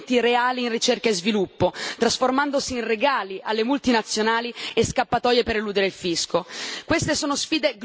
non sono legate a investimenti reali in ricerca e sviluppo, trasformandosi in regali alle multinazionali e in scappatoie per eludere il fisco.